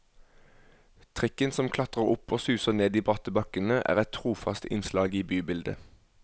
Trikken som klatrer opp og suser ned de bratte bakkene er et trofast innslag i bybildet.